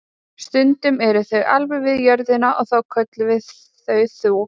Stundum eru þau alveg við jörðina og þá köllum við þau þoku.